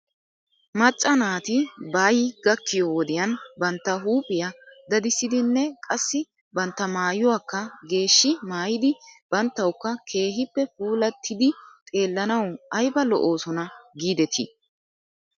Macca naati baay gakkiyoo wodiyan bantta huuphphiyaa dadissidinne qassi bantta maayuwaakka geeshshi maayidi banttawkka keehippe puulattidi xeellanaw ayba lo'oosona giidetii?